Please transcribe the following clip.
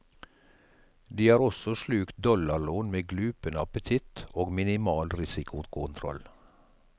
De har også slukt dollarlån med glupende appetitt og minimal risikokontroll.